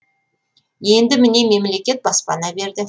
енді міне мемлекет баспана берді